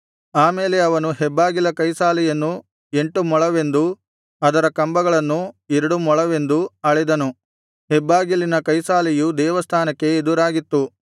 ಆಮೇಲೆ ಅವನು ಹೆಬ್ಬಾಗಿಲ ಕೈಸಾಲೆಯನ್ನು ಎಂಟು ಮೊಳವೆಂದೂ ಅದರ ಕಂಬಗಳನ್ನು ಎರಡು ಮೊಳವೆಂದೂ ಅಳೆದನು ಹೆಬ್ಬಾಗಿಲಿನ ಕೈಸಾಲೆಯು ದೇವಸ್ಥಾನಕ್ಕೆ ಎದುರಾಗಿತ್ತು